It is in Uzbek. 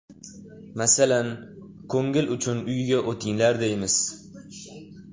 Masalan, ko‘ngil uchun uyga o‘tinglar deymiz.